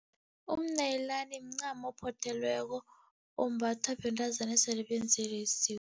Umnayilani mncamo ophothelweko, ombathwa bentazana esele benzelwe isiko.